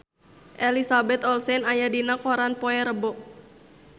Elizabeth Olsen aya dina koran poe Rebo